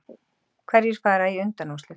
Hverjir fara í undanúrslit